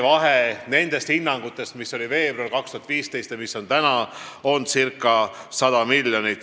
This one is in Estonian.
Vahe nendes hinnangutes, mis olid veebruaris 2015 ja praegu, on circa 100 miljonit.